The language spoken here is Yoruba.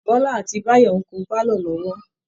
Bọ́lá àti Báyọ̀ ń kun pálọ̀ lọ́wọ́